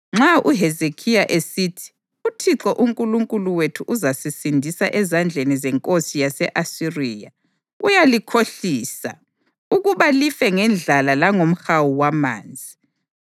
Nxa uHezekhiya esithi, ‘ UThixo uNkulunkulu wethu uzasisindisa ezandleni zenkosi yase-Asiriya,’ uyalikhohlisa, ukuba life ngendlala langomhawu wamanzi.